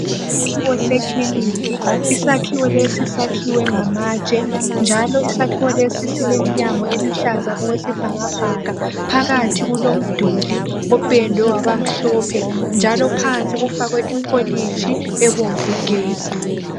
Isakhiwo sekilinika. Isakhiwo lesi sakhiwe ngamatshe njalo isakhiwo lesi sileminyango eluhlaza okwesibhakabhaka. Phakathi kulomduli opendwe wabamhlophe njalo phansi kufakwe ipholitshi ebomvu gebhu.